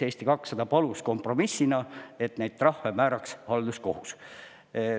Eesti 200 palus kompromissina, et neid trahve määraks halduskohus.